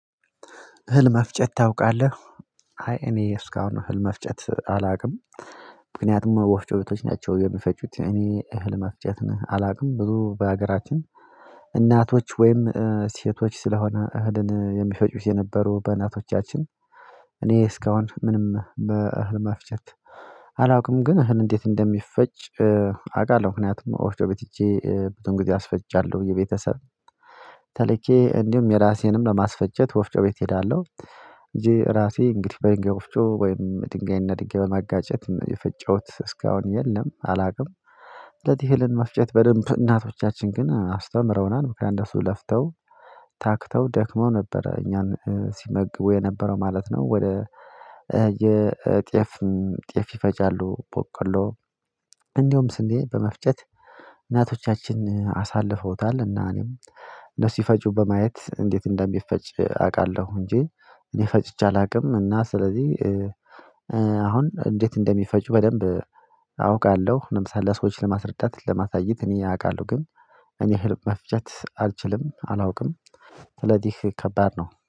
እህል መፍጨት ታውቃለህ? አይ እኔ እስካሁን እህል መፍጨት አላውቅም። ምክንያቱም ወፍጮ ቤቶች ናቸው የሚፈጩት እኔ እህል የሚፍጩት አላውቅም ብዙ በሀገራችን እናቶች ወይም ሴቶች ስለሆነ እህልን የሚፈጩት የነበሩ በእናቶቻችን። እኔ እስካሁን ምንም በእህል መፍቸት አላውቅም። ግን እህል እንዴት እንደሚፈጭ አውቃለሁ ምክንያቱም ኦፍጮ ቤት ሄጄ ቤት ሄጄ ብዙም ጊዜ አስፈጫለሁ የቤተሰብ ተልኬ እንዲሁም የራሴንም ለማስፈጨት ወፍጮ ቤት እሄዳለሁ። እጄ ራሴ እንግዲህ በድንጋይ ወፍጮ ወይም ድንጋይ እና ድንጋይ በማጋጨት የፈጨሁት እስካሁን የለም አላውቅም። እህልን መፍጨት በደንብ እናቶቻችን ግን አስተምረውናል ምክንያቱም እነሱ ለፍተው ታክተው ደክመው ነበር እኛን ሲመግቡ የነበረው ማለት ነው። ወደ የጤዬፍ ጤዬፍ ይፈጫሉ ቦቆሎ እንደውም ስንዴ በመፍጨት እናቶቻችን አሳልፈውታል። እና እኔም እነሱ ሲፈጩ በማየት እንዴት እንደሚፈጭ አውቃለሁ እንጂ እኔ ፈጭቼ አላውቅም። እና ስለዚህ አሁን እንዴት እንደሚፈጩ በደንብ አውቃለሁ። ለምሳሌ ሰዎችን ለማስረዳት ለማሳየት እኔ አውቃለሁ ግን እኔ እህል መፍጨት አልችልም አላውቅም። ስለዚህ ከባድ ነው